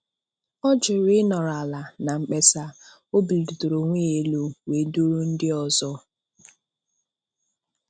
Ọ jụrụ ị nọrọ ala na mkpesa, o bulitere onwe ya elu wee duru ndị ọzọ.